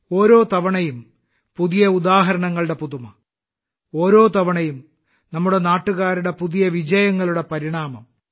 ഓരോ തവണയും പുതിയ ഉദാഹരണങ്ങളുടെ പുതുമ ഓരോ തവണയും നമ്മുടെ നാട്ടുകാരുടെ പുതിയ വിജയങ്ങളുടെ പരിണാമം